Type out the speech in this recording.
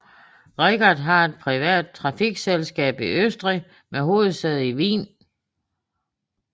Richard er et privat trafikselskab i Østrig med hovedsæde i Wien